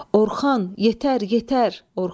Orxan, yetər, yetər Orxan!